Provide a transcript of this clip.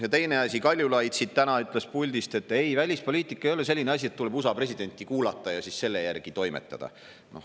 Ja teine asi, Kaljulaid täna ütles puldist, et ei, välispoliitika ei ole selline asi, et tuleb USA presidenti kuulata ja siis selle järgi toimetada.